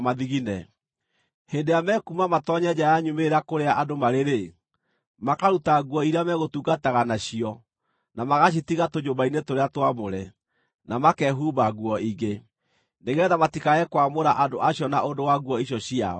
Hĩndĩ ĩrĩa mekuuma matoonye nja ya nyumĩrĩra kũrĩa andũ marĩ-rĩ, makaruta nguo iria megũtungataga nacio, na magacitiga tũnyũmba-inĩ tũrĩa twamũre, na makehumba nguo ingĩ, nĩgeetha matikae kwamũra andũ acio na ũndũ wa nguo icio ciao.